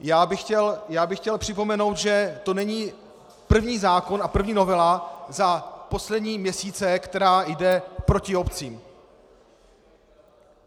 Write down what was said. Já bych chtěl připomenout, že to není první zákon a první novela za poslední měsíce, která jde proti obcím.